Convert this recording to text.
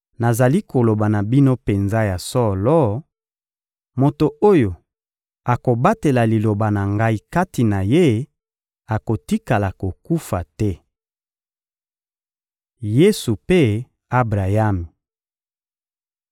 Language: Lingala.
Nazali koloba na bino penza ya solo: moto oyo akobatela Liloba na Ngai kati na ye akotikala kokufa te. Yesu mpe Abrayami